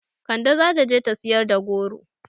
Kande zata je ta siyar da goro